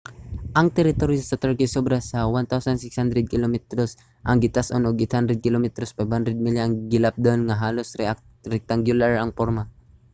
ang teritoryo sa turkey sobra sa 1,600 kilometros 1000 milya ang gitas-on ug 800 kilometros 500 milya ang gilapdon nga halos rectangular ang porma